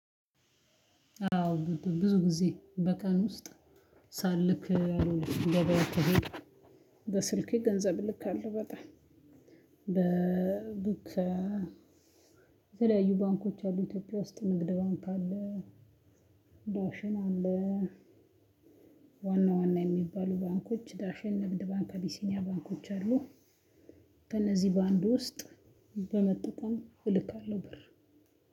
አዎ ብዙ ጊዜ በቀን ውስጥ ሳልክ እንደበያው ተሄድ። በስልኬ ገንዘብ ልክ አለው በጣም። በቡክ የተለያዩ ባንኮች አሉ። ኢትዮጵያ ውስጥ ንግድ ባንክ አለ። ዳሽን አለ። ዋና ዋና የሚባሉ ባንኮች ዳሸን ንግድ ባንክ አቢሲኒያ ባንኮች አሉ። ከእነዚህ ባንድ ውስጥ በመጠቀም እልካለሁ ብር።